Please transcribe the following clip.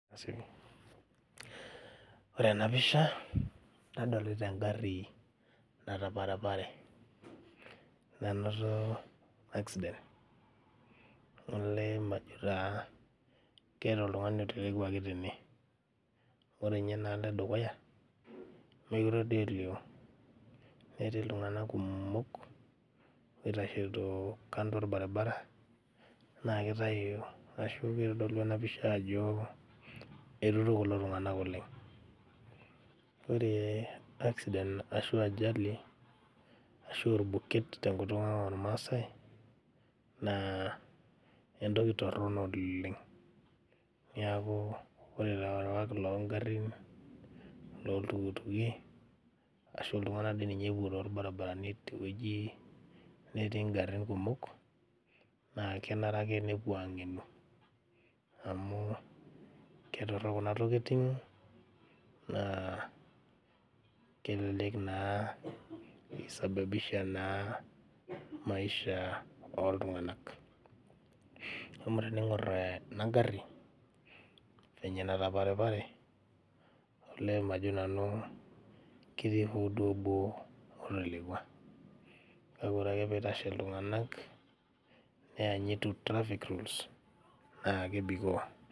Ore ena pisha nadolita engarri nataparapare nanoto accident olee majo taa keeta oltung'ani otelekuaki tene ore inye enaalo edukuya mekire duo elio netii iltung'anak kumok oitasheito kando orbaribara naa kitayu ashu kitodolu ena pisha ajo eiruto kulo tung'anak oleng ore accident ashu ajali ashu orbuket tenkutuk ang ormasae naa entoki torrono oleng niaku ore ilarewak longarrin loltukutuki ashu iltung'anak dii ninye epuo torbaribarani tewueji netii ingarrin kumok naa kenare ake nepuo ang'enu amu ketorrok kuna tokiting naa kelelek naa isababisha naa maisha oltung'anak amu tening'orr ena garri venye enataparipare olee majo nanu ketii hoo duo obo otelekua kake ore ake piitashe iltung'anak neyanyitu traffic rules naa kebikoo.